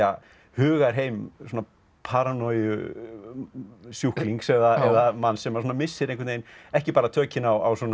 hugarheim svona paranojusjúklings eða manns sem missir ekki bara tökin á